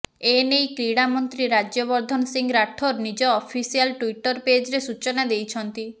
ଏନେଇ କ୍ରୀଡାମନ୍ତ୍ରୀ ରାଜ୍ୟବର୍ଦ୍ଦନ ସିଂ ରାଠୋର୍ ନିଜ ଅଫିସିଆଲ୍ ଟ୍ୱିଟର ପେଜରେ ସୂଚନା ଦେଇଛନ୍ତି